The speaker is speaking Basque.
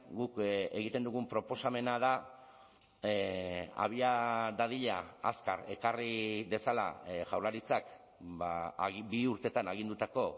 guk egiten dugun proposamena da abia dadila azkar ekarri dezala jaurlaritzak bi urteetan agindutako